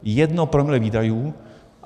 Jedno promile výdajů.